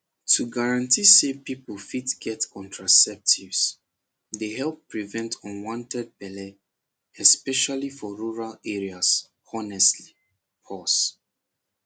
to guarantee say people fit get contraceptives dey help prevent unwanted belle especially for rural areas honestly pause